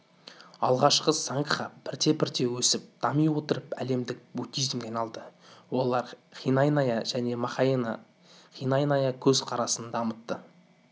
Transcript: алғашкы сангха бірте-бірте өсіп дами отырып әлемдік буддизмге айналды олар хинаяна және махаяна хинаяна көз-қарасын дамытты